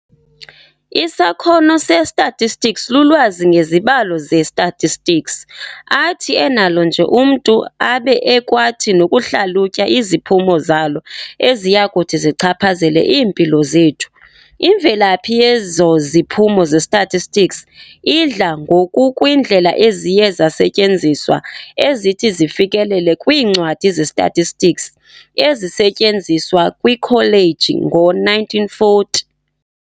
"Isakhono se-statistics lulwazi ngezibalo ze-statistics, athi enalo nje umntu, abe ekwathi nokuhlalutya iziphumo zalo eziyakuthi zichaphazele iimpilo zethu. Imvelaphi yezo ziphumo ze-statistics, idla ngokukwiindlela eziye zasetyenziswa ezithi zifikelele kwiincwadi ze-statistics ezisetyenziswa kwiikholeji ngoo-1940.